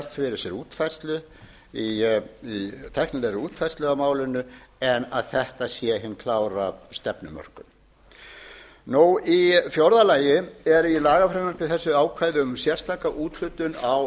menn geta velt fyrir sér tæknilegri útfærslu á málinu en að þetta sé hin klára stefnumörkun í fjórða lagi er í lagafrumvarpi þessu ákvæði um sérstaka úthlutun á